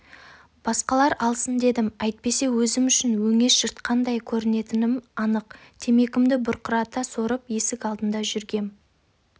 басқалар алсын дедім әйтпесе өзім үшін өңеш жыртқандай көрінетінім анық темекімді бұрқырата сорып есік алдында жүргем